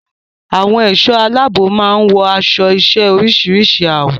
Àwọn ẹ̀ṣọ́ aláàbò máa ń wọ aṣọ-iṣẹ́ oríṣìíríṣìí àwọ̀.